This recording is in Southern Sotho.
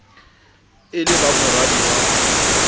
e le ba moradi wa